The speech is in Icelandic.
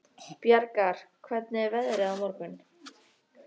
Bjargar, hvernig er veðrið á morgun?